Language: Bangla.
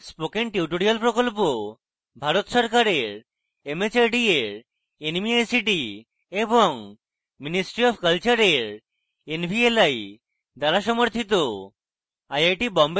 spoken tutorial project ভারত সরকারের mhrd এর nmeict এবং ministry অফ কলচারের nvli দ্বারা সমর্থিত